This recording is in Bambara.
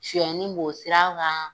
Suyɛnnin b'o sira kan